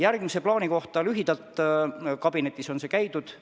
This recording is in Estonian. Edasise plaani kohta ütlen lühidalt, et kabinetis on see käinud.